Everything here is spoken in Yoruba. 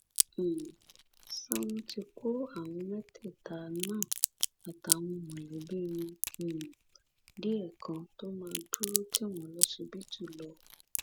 um ṣá wọn ti kọ àwọn mẹtẹẹta náà àtàwọn mọlẹbí wọn um díẹ kan tó máa dúró tì wọn lọsibítù lọ